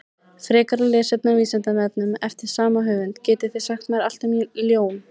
Frekara lesefni á Vísindavefnum eftir sama höfund: Getið þið sagt mér allt um ljón?